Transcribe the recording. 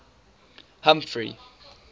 humphrey